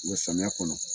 samiya kɔnɔ